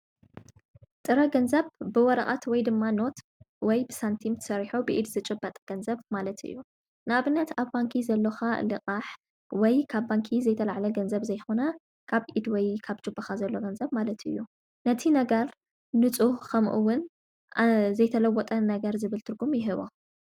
ጥረ ገንዘብ ብወረቓት ወይ ድማ ኖት ወይ ብሳንቲም ሠሪሖ ብኢድ ዝጩ ባጠ ገንዘብ ማለት እዩ ናብነት ኣብ ባንኪ ዘለኻ ልቓሕ ወይ ካብ ባንኪ ዘይተልዕለ ገንዘብ ዘይኾነ ካብ ኢድ ወይ ካብ ጅብኻ ዘሎ ገንዘብ ማለት እዩ ነቲ ነገር ንፁህ ኸምኡውን ዘይተለወጠ ነገር ዝብልትርጉም ይህቦ።